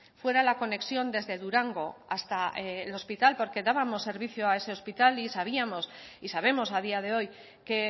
fuera la conexión desde durango hasta el hospital porque dábamos servicio ese hospital y sabíamos y sabemos a día de hoy que